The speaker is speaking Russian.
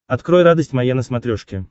открой радость моя на смотрешке